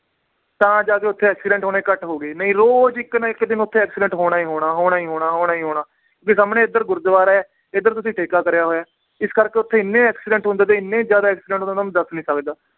ਤਾਂ ਜਾ ਕੇ ਓਥੇ accident ਹੋਣੇ ਘੱਟ ਹੋ ਗਏ ਨਈ ਰੋਜ ਇਕ ਨਾ ਇਕ ਦਿਨ ਓਥੇ accident ਹੋਣਾ ਈ ਹੋਣਾ, ਹੋਣਾ ਈ ਹੋਣਾ, ਹੋਣਾ ਈ ਹੋਣਾ ਵੀ ਸਾਮਣੇ ਏਧਰ ਗੁਰਦਵਾਰਾ ਏ ਏਧਰ ਤੁਸੀਂ ਠੇਕਾ ਕਰਿਆ ਹੋਇਆ ਏ, ਇਸ ਕਰਕੇ ਓਥੇ ਇੰਨੇ accident ਹੁੰਦੇ ਤੇ ਇੰਨੇ ਜ਼ਿਆਦਾ accident ਹੁੰਦੇ, ਤੁਹਾਨੂੰ ਦੱਸ ਨੀ ਸਕਦਾ